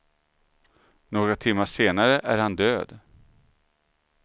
Några timmar senare är han död.